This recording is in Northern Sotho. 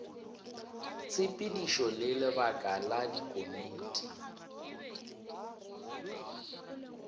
tshepedišo le lebaka la dikomiti